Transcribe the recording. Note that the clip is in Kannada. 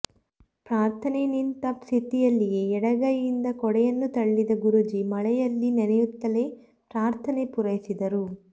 ಪ್ರಾರ್ಥನೆ ನಿಂತ ಸ್ಥಿತಿಯಲ್ಲಿಯೇ ಎಡಗೈಯಿಂದ ಕೊಡೆಯನ್ನುತಳ್ಳಿದ ಗುರೂಜಿ ಮಳೆಯಲ್ಲಿ ನೆನೆಯುತ್ತಲೇ ಪ್ರಾರ್ಥನೆ ಪೂರೈಸಿದರು